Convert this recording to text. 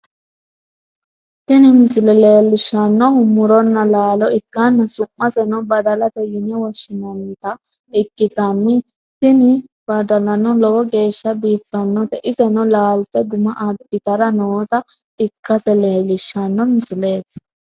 tini misile leellishshannohu muronna laalo ikkanna, su'maseno badalate yine woshshi'nannita ikkitanna, tini badalano lowo geeshsha biifannote, iseno laalte guma abbitara noota ikkase leellishshanno misileeti.